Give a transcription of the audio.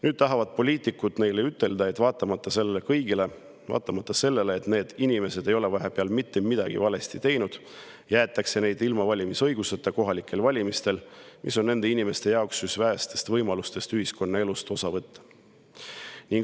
Nüüd tahavad poliitikud neile ütelda, et vaatamata sellele kõigele, vaatamata sellele, et need inimesed ei ole vahepeal mitte midagi valesti teinud, jäetakse nad ilma valimisõiguseta kohalikel valimistel, mis on nende inimeste jaoks üks vähestest võimalustest ühiskonnaelust osa võtta.